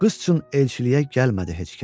Qız üçün elçiliyə gəlmədi heç kəs.